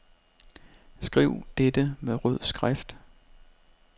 Skriv dette med rød skrift.